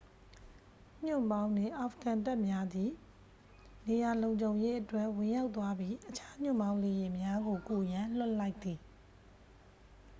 ညွှန့်ပေါင်းနှင့် အာဖဂန်တပ်များသည် နေရာလုံခြုံရေးအတွက် ဝင်ရောက်သွားပြီး အခြား ညွှန့်ပေါင်းလေယာဉ်များကို ကူရန် လွှတ်လိုက်သည်